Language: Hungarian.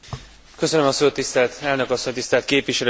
Tisztelt Elnök asszony! Tisztelt Képviselőtársaim!